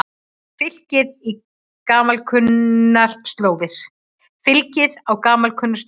Fylgið á gamalkunnar slóðir